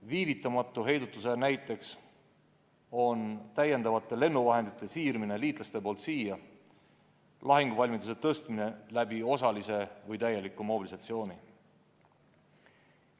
Viivitamatu heidutuse näiteks on liitlaste täiendavate lennuvahendite siirmine siia ning lahinguvalmiduse tõstmine osalise või täieliku mobilisatsiooni abil.